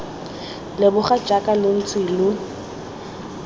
leboga jaaka lo ntse lo